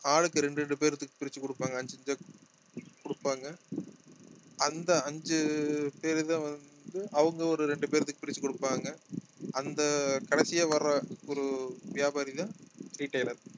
ஆளுக்கு ரெண்டு ரெண்டு பேருக்கு பிரிச்சு குடுப்பாங்க அஞ்சு பிரிச்சி குடுப்பாங்க அந்த அஞ்சு பேருதான் வந்து அவங்க ஒரு ரெண்டு பேர்த்துக்கு பிரிச்சு குடுப்பாங்க அந்த கடைசியா வர்ற ஒரு வியாபாரிதான் retailer